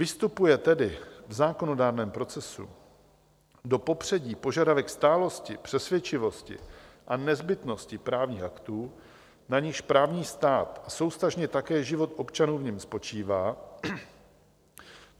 Vystupuje tedy v zákonodárném procesu do popředí požadavek stálosti, přesvědčivosti a nezbytnosti právních aktů, na nichž právní stát, a souvztažně také život občanů v něm, spočívá.